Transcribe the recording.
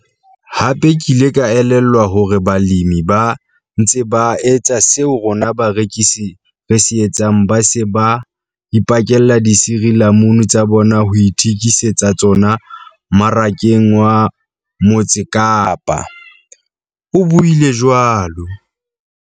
"Hape ke ile ka elellwa hore balemi ba ntse ba etsa seo rona barekisi re se etsang ba se ba ipakella disirilamunu tsa bona ho ithekise tsa tsona Marakeng wa Mo tse Kapa" o buile jwalo.